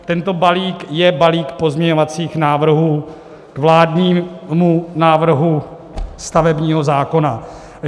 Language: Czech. Tento balík je balík pozměňovacích návrhů k vládnímu návrhu stavebního zákona.